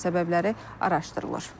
Hadisənin səbəbləri araşdırılır.